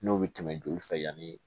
N'o bɛ tɛmɛ joli fɛ yanni